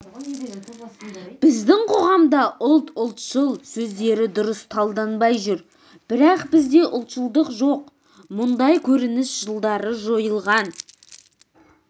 біздің қоғамда ұлт ұлтшыл сөздері дұрыс талданбай жүр бірақ бізде ұлтшылдық жоқ мұндай көрініс жылдары жойылған